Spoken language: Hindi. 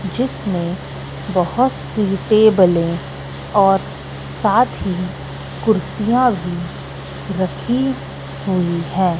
जिसमें बहोत सी टेबले और साथ ही कुर्सियां भी रखी हुई है।